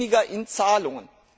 weniger in Zahlungen.